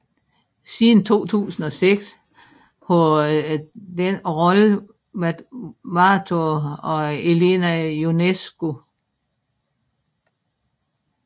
Siden 2006 har denne rolle været varetaget af Elena Ionescu